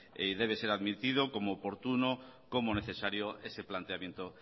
y debe ser admitido como oportuno como necesario ese planteamiento